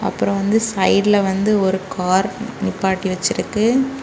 அப்புறம் வந்து சைடுல வந்து ஒரு கார் நிப்பாட்டி வச்சிருக்கு.